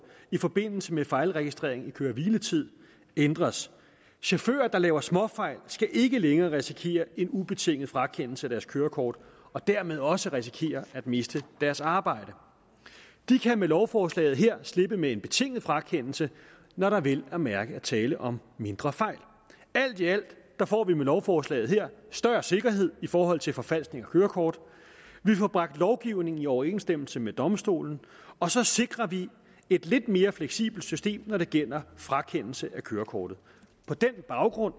i forbindelse med fejlregistrering af køre og hviletid ændres chauffører der laver småfejl skal ikke længere risikere en ubetinget frakendelse af deres kørekort og dermed også risikere at miste deres arbejde de kan med lovforslaget her slippe med en betinget frakendelse når der vel at mærke er tale om mindre fejl alt i alt får vi med lovforslaget her større sikkerhed i forhold til forfalskning af kørekort vi får bragt lovgivningen i overensstemmelse med domstolen og så sikrer vi et lidt mere fleksibelt system når det gælder frakendelse af kørekortet på den baggrund